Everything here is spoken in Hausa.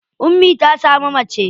Ummi ta samu mace.